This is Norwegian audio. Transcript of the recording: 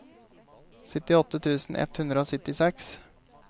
syttiåtte tusen ett hundre og syttiseks